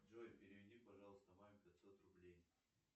джой переведи пожалуйста маме пятьсот рублей